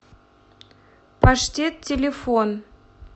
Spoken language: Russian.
паштет телефон